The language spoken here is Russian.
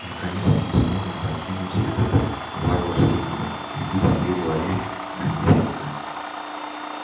наконец-то мы сможем покинуть этот варварский мир и быть при дворе наместника